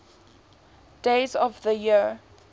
days of the year